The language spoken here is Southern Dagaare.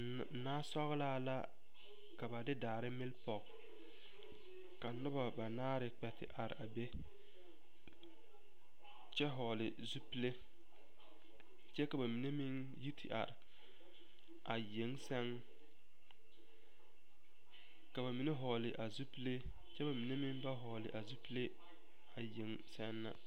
Nasɔglaa la ka ba de daare mele pɔge ka noba banaare kpɛ te are a be kyɛ vɔgle zupili kyɛ ka ba mine meŋ yi te are a yeŋ sɛŋ ka ba mine vɔgle zupili kyɛ ba mine meŋ ba vɔgle a yeŋe sɛŋ na.